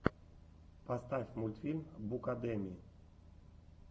поставь мультфильм букадеми